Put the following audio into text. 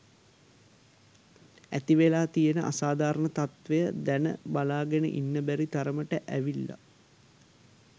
ඇතිවෙලා තියෙන අසාධාරණ තත්ත්වය දැන් බලාගෙන ඉන්න බැරි තරමට ඇවිල්ලා.